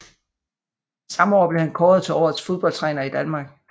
Samme år blev han kåret til Årets fodboldtræner i Danmark